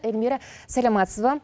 эльмира саламатсыз ба